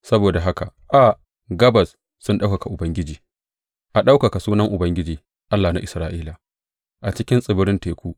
Saboda haka a gabas sun ɗaukaka Ubangiji, a ɗaukaka sunan Ubangiji, Allah na Isra’ila, a cikin tsibiran teku.